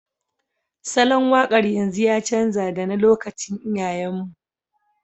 Salon waƙar yanzu ya canja da na lokacin iyayen mu